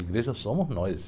Igreja somos nós.